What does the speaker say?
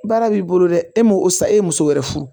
Baara b'i bolo dɛ e m'o o sa e ye muso wɛrɛ furu